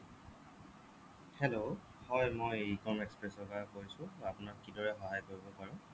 hello হ'য় মই e com express ৰ পৰা কৈছো মই আপোনাক কি দৰে সহায় কৰিব পাৰো